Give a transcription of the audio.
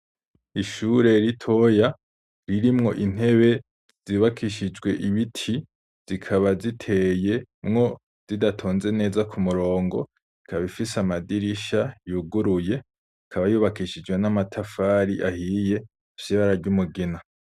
Ishure ritoya ririmwo intebe zubakishijwe ibiti zikaba ziteyemwo zidatonze neza kumurongo ikab'ifise amadirisha yuguruye ikaba yubakishijwe n'amatafari ahiye afis'ibara ry'umugina .